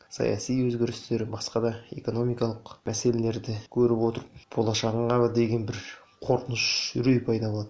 саяси өзгерістер басқа да экономикалық мәселелерді көріп отырып болашағыңа деген бір қорқыныш үрей пайда болады